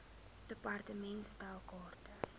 department stel kaarte